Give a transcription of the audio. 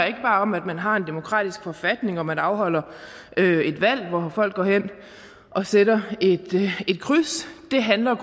om at man har en demokratisk forfatning og at man afholder et valg hvor folk går hen og sætter et kryds det handler